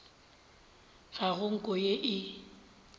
ga go nko ye e